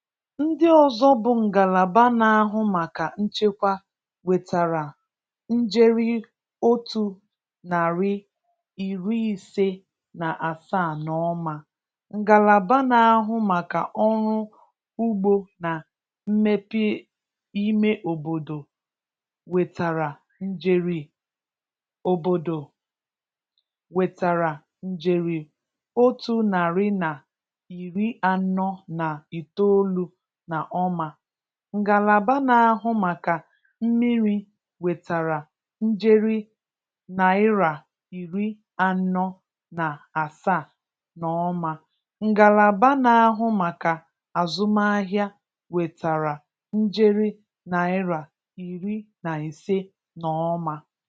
Ndị ọzọ bụ ngalaba na-ahu maka nchekwa nwetara njeri otu narị, iri ise na asaa n'ọma; ngalaba na-ahụ maka ọrụ ugbo na mmepe ime obodo nwetara njeri obodo nwetara njeri otu narị na iri anọ na itoolu na ọma; ngalaba na-ahụ maka mmiri nwetara njeri naira iri anọ na asaa n'ọma; ngalaba na-ahụ maka azụmahịa nwetara njeri naira iri na ise n'ọma.